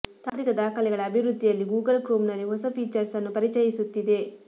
ತಾಂತ್ರಿಕ ದಾಖಲೆಗಳ ಅಭಿವೃದ್ಧಿಯಲ್ಲಿ ಗೂಗಲ್ ಕ್ರೋಮ್ ನಲ್ಲಿ ಹೊಸ ಫೀಚರ್ಸ್ ಅನ್ನು ಪರಿಚಯಿಸುತ್ತಿದೆ